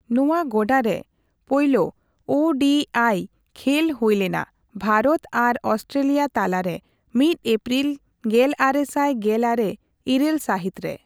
ᱱᱚᱣᱟ ᱜᱚᱰᱟᱨᱮ ᱯᱳᱭᱞᱳ ᱳ ᱰᱤ ᱟᱭ ᱠᱷᱮᱹᱞ ᱦᱳᱭᱞᱮᱱᱟ ᱵᱷᱟᱨᱚᱛ ᱟᱨ ᱚᱥᱴᱨᱮᱹᱞᱤᱭᱟ ᱛᱟᱞᱟᱨᱮ ᱢᱤᱛ ᱮᱯᱯᱨᱤᱞ ᱜᱮᱞᱟᱨᱮᱥᱟᱭ ᱜᱮᱞᱟᱨᱮ ᱤᱨᱟᱹᱞ ᱥᱟᱦᱤᱛᱨᱮ ᱾